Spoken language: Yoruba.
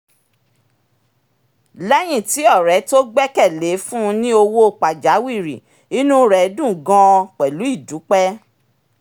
léyìn tí ọ̀rẹ́ tó gbẹ́kẹ̀ lé fún un ní owó pajawìrì inú rẹ dùn gan-an pẹ̀lú ìdúpẹ́